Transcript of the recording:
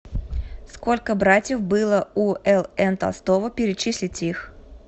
сколько братьев было у л н толстого перечислите их